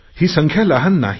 ही संख्या लहान नाही